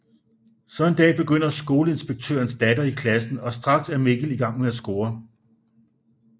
Så en dag begynder skoleinspektørens datter i klassen og straks er Mikkel i gang med at score